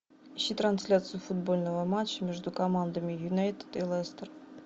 ищи трансляцию футбольного матча между командами юнайтед и лестер